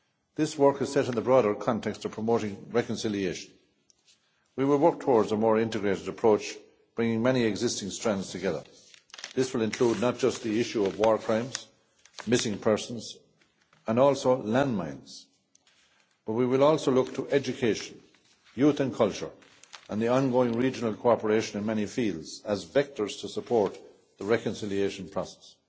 This work is set in the broader context of promoting reconciliation. We will work towards a more integrated approach, bringing many existing strands together. Not only will this include the issues of war crimes, missing persons, and also landmines, but we will also look to education, youth and culture and the ongoing regional cooperation in many fields as vectors to support the reconciliation process.